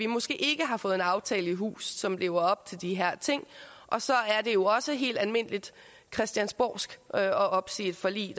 måske ikke har fået en aftale i hus som lever op til de her ting og så er det jo også helt almindeligt christiansborgsk at opsige et forlig